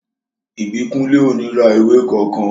Ìbíkúnlé ò ní ra ìwé kankan